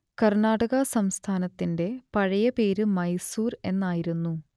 കർണാടക സംസ്ഥാനത്തിന്റെ പഴയ പേര് മൈസൂർ എന്നായിരുന്നു